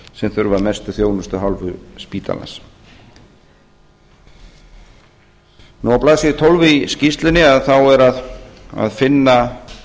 sem þurfa mesta þjónustu af hálfu spítalans á blaðsíðu tólf í skýrslunni er að finna